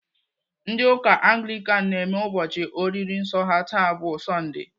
Ndị ụka Anglikan na-eme ụbọchị oriri nsọ ha taa bụ sondee.